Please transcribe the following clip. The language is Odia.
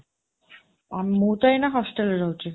ମୁଁ ତ ଏଇନା ହଷ୍ଚେଲରେ ରହୁଛି।